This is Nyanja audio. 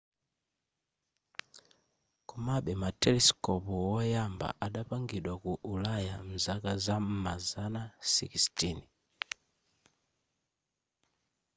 komabe ma telesikopu woyamba adapangidwa ku ulaya nzaka zam'ma zana 16